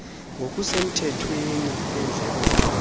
ngokusemthethweni yendleko zamanzi